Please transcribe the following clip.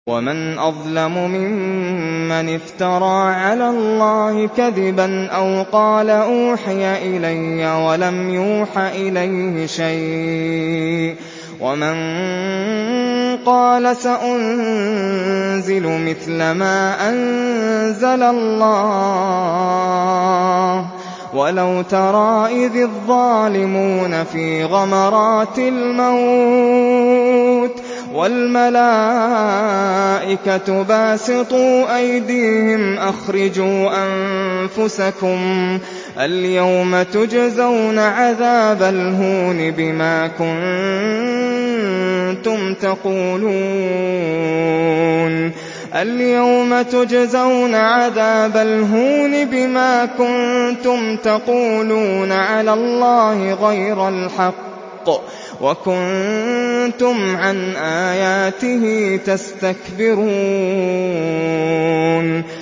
وَمَنْ أَظْلَمُ مِمَّنِ افْتَرَىٰ عَلَى اللَّهِ كَذِبًا أَوْ قَالَ أُوحِيَ إِلَيَّ وَلَمْ يُوحَ إِلَيْهِ شَيْءٌ وَمَن قَالَ سَأُنزِلُ مِثْلَ مَا أَنزَلَ اللَّهُ ۗ وَلَوْ تَرَىٰ إِذِ الظَّالِمُونَ فِي غَمَرَاتِ الْمَوْتِ وَالْمَلَائِكَةُ بَاسِطُو أَيْدِيهِمْ أَخْرِجُوا أَنفُسَكُمُ ۖ الْيَوْمَ تُجْزَوْنَ عَذَابَ الْهُونِ بِمَا كُنتُمْ تَقُولُونَ عَلَى اللَّهِ غَيْرَ الْحَقِّ وَكُنتُمْ عَنْ آيَاتِهِ تَسْتَكْبِرُونَ